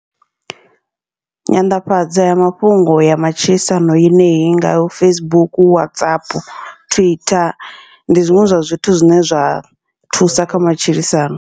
Nyanḓafhadza mafhungo ya matshilisano yeneyi i ngaho Facebook, Whatsapp, Twitter, ndi zwiṅwe zwa zwithu zwine zwa thusa kha matshilisano.